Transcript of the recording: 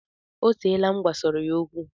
O teela m gwasọrọ ya okwu